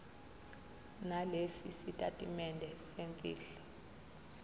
nalesi sitatimende semfihlo